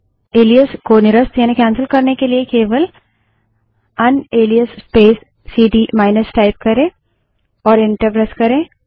इस एलाइस को निरस्त यानि कैन्सल करने के लिए केवल unalias space CD minus type करे और इंटर प्रेस करे